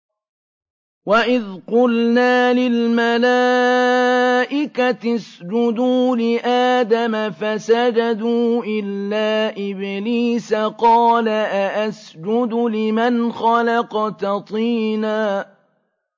وَإِذْ قُلْنَا لِلْمَلَائِكَةِ اسْجُدُوا لِآدَمَ فَسَجَدُوا إِلَّا إِبْلِيسَ قَالَ أَأَسْجُدُ لِمَنْ خَلَقْتَ طِينًا